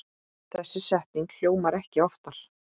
Þessi setning hljómar ekki oftar.